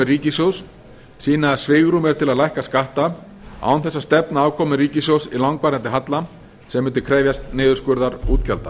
ríkissjóðs sýna að svigrúm er til að lækka skatta án þess að stefna afkomu ríkissjóðs í langvarandi halla sem myndi krefjast niðurskurðar útgjalda